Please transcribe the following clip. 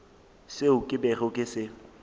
seo ke bego ke se